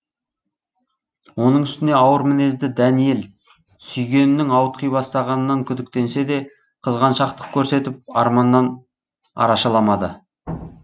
оның үстіне ауыр мінезді дәниел сүйгенінің ауытқи бастағанынан күдіктенсе де қызғаншақтық көрсетіп арманнан арашаламады